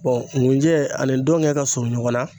ngunjɛ ani dɔŋɛ ka suun ɲɔgɔn na